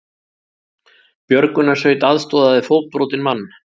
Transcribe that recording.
Björgunarsveit aðstoðaði fótbrotinn mann